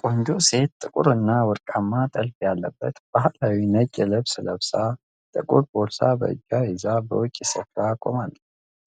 ቆንጆ ሴት ጥቁርና ወርቃማ ጥልፍ ያለበት ባህላዊ ነጭ ልብስ ለብሳ፣ ጥቁር ቦርሳ በእጇ ይዛ በውጪ ስፍራ ቆማለች።